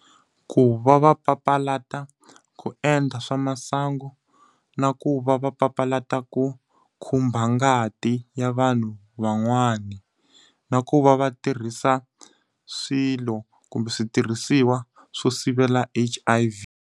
Ku va va papalata ku endla swa masangu, na ku va va papalata ku khumba ngati ya vanhu van'wana. Na ku va va tirhisa swilo kumbe switirhisiwa swo sivela H_I_V.